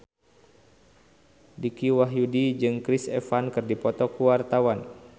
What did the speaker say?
Dicky Wahyudi jeung Chris Evans keur dipoto ku wartawan